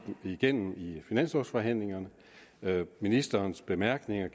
igennem i finanslovforhandlingerne ministerens bemærkninger